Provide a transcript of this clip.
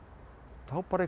þá bara einhvern